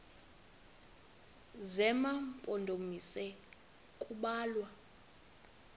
zema mpondomise kubalwa